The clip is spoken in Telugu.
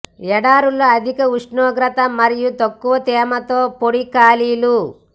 ఎడారులు అధిక ఉష్ణోగ్రత మరియు తక్కువ తేమతో పొడి ఖాళీలు